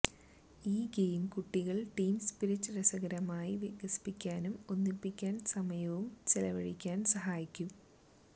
ഈ ഗെയിം കുട്ടികൾ team spirit രസകരമായ വികസിപ്പിക്കാനും ഒന്നിപ്പിക്കാൻ സമയവും ചെലവഴിക്കാൻ സഹായിക്കും